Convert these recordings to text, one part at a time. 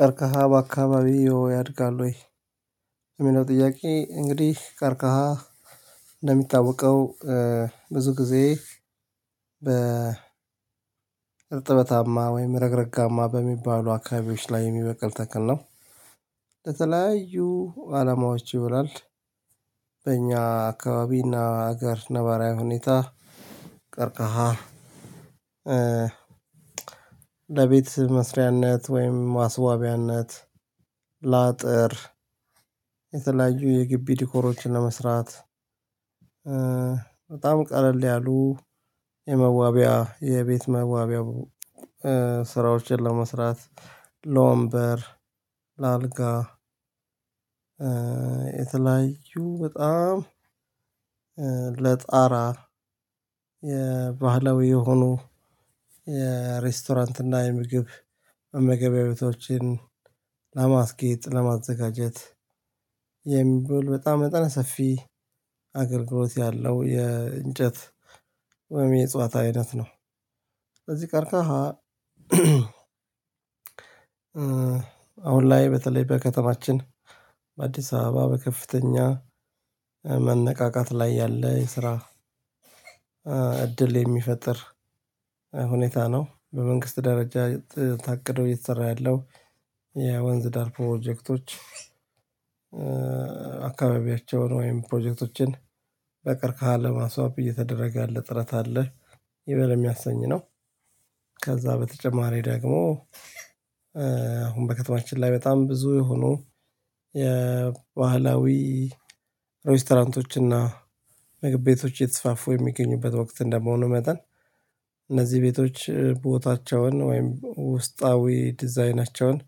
ቀርቅሃ በአካባቢው ያድጋል ወይ? የሚለው ጥያቄ እንግዲህ ቀርቅሃ እንደሚታወቀው ብዙ ጊዜ እርጥበታማ ወይም ረግረጋማ በሚባሉ አካባቢዎች ላይ የሚበቅል ተክል ነው። ለተለያዩ አላማዎች ይውላል። በእኛ አካባቢና ሀገር ነባራዊ ሁኔታ። ቀርቅሃ ለቤት መስሪያነት ወይም ማስዋባያነት ላጥር የተለያዩ የግቢ ዲኮሮችን ለመስራት። በጣም ቀለል ያሉ የመዋቢያ የቤት መዋቢያ። ስራዎችን ለመስራት ለወንበር ለአልጋ የተለያዩ በጣም ለጣራ ባህላዊ የሆኑ የሬስቶራንት እና የምግብ መመገቢያ ቤቶችን ለማስጌጥ ለማዘጋጀት የሚው በጣም መጠነ ሰፊ አገልግሎት ያለው የእንጨት ወይም የጽዋት አይነት ነው። ስለዚህ ቅርቅሃ አሁን ላይ በተለይ በከተማችን በአዲስ አበባ በከፍተኛ መነቃቃት ላይ ያለ ስራ እድል የሚፈጥር ሁኔታ ነው። በመንግስት ደረጃ ታቅዶ እየተሰራ ያለው የወንዝ ዳር ፕሮጀክቶች አካባቢያቸውን ወይም ፕሮጀክቶችን በቅርቅሃ ለማስዋብ እየተደረገ ያለ ጥረት አለ ይበል የሚያሰኝ ነው። ከዛ በተጨማሪ ደግሞ አሁን በከተማችን ላይ በጣም ብዙ የሆኑ ባህላዊ ሬስቶራንቶች እና ምግብ ቤቶች እየተስፋፉ የሚገኙበት ወቅት እንደመሆኑ መጠን እነዚህ ቤቶች ቦታቸውን ወይም ውስጣዊ ዲዛይናቸውን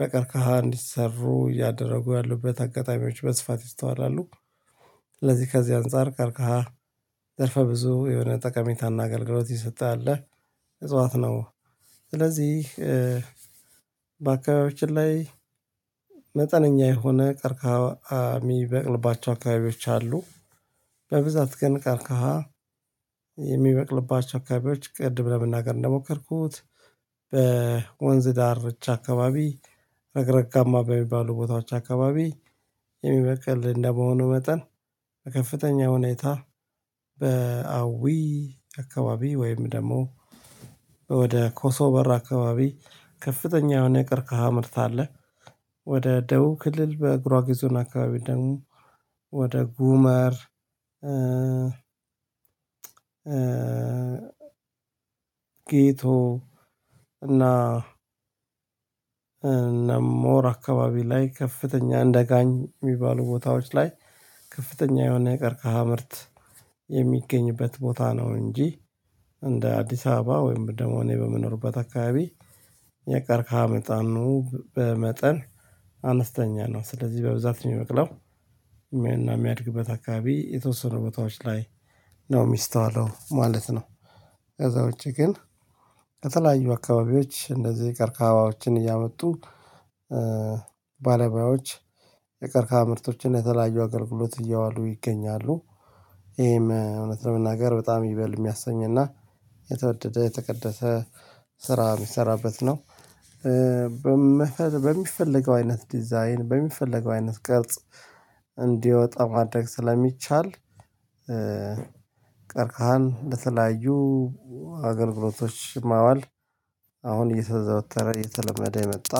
በቀርቅሃ እንዲሰሩ እያደረጉ ያሉበት አጋጣሚዎች በስፋት ይስተዋላሉ። ለዚህ ከዚህ አንፃር ቀርቅሃ ዘርፈ ብዙ የሆነ ጠቀሜታ እና አገልግሎት እየሰጠ ያለ እፅዋት ነው። ስለዚህ በአካባቢያችን ላይ መጠነኛ የሆነ ቀርቅሃ ሚበቅልባቸው አካባቢዎች አሉ። በብዛት ግን ቀርቅሃ የሚበቅልባቸው አካባቢዎች ቅድም ለመናገር እንደሞከርኩት በወንዝ ዳርቻ አካባቢ ረግረጋማ በሚባሉ ቦታዎች አካባቢ የሚበቅል እንደመሆኑ መጠን በከፍተኛ ሁኔታ በአዊ አካባቢ ወይም ደግሞ ወደ ኮሶ በር አካባቢ ከፍተኛ የሆነ ቀርቅሃ ምርት አለ። ወደ ደቡብ ክልል በጉራጌ ዞን አካባቢ ደግሞ ወደ ጉመር ጌቶ እና ሞር አካባቢ ላይ ከፍተኛ እንደጋኝ ሚባሉ ቦታዎች ላይ ከፍተኛ የሆነ የቀርቅሃ ምርት የሚገኝበት ቦታ ነው። እንጂ እንደ አዲስ አበባ ወይም ደሞ እኔ በምኖርበት አካባቢ የቀርቅሃ መጠኑ በመጠን አነስተኛ ነው። ስለዚህ በብዛት የሚበቅለው የሚያድግበት አካባቢ የተወሰኑ ቦታዎች ላይ ነው የሚስተዋለው ማለት ነው። ከዛ ውጪ ግን ከተለያዩ አካባቢዎች እንደዚህ የቀርቅባዎችን እያመጡ ባለሙያዎች የቀርቅሃ ምርቶችን የተለያዩ አገልግሎት እያዋሉ ይገኛሉ። ይሄም እውነት ለመናገር በጣም ይበል የሚያሰኝ እና የተወደደ የተቀደሰ ስራ ሚሰራበት ነው። በሚፈልገው አይነት ዲዛይን በሚፈልገው አይነት ቅርጽ እንዲወጣ ማድረግ ስለሚቻል ቀርቅሃን ለተለያዩ አገልግሎቶች ማዋል። አሁን እየተዘወተረ የተለመደ የመጣ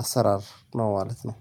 አሰራር ነው ማለት ነው።